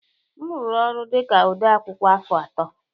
M rụrụ ọrụ dị ka odeakwụkwọ afọ atọ